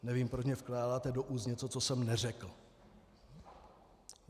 Nevím, proč mně vkládáte do úst něco, co jsem neřekl.